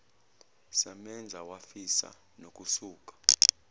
samenza wafisa nokusuka